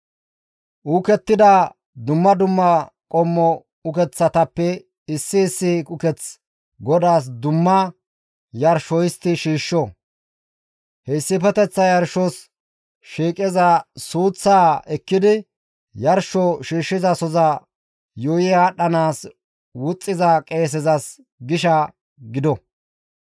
Uukettida dumma dumma qommo ukeththatappe issi issi uketh GODAAS dumma yarsho histti shiishsho; he issifeteththa yarshos shiiqiza suuththaa ekkidi yarsho shiishshizasoza yuuyi aadhdhanaas wuxxiza qeesezas gisha gido.